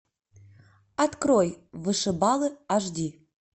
открой вышибалы аш ди